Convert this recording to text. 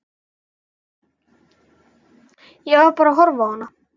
Ég var bara að horfa á hana.